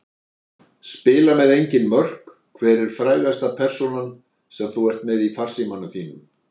Spila með engin mörk Hver er frægasta persónan sem þú ert með í farsímanum þínum?